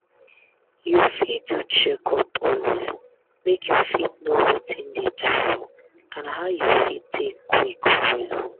you fit do checkup always make you fit know watin dey do you and how you fit take quick well.